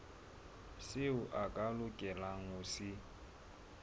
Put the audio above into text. seo a lokelang ho se